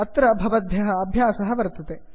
अत्र भवद्भ्यः अभ्यासः वर्तते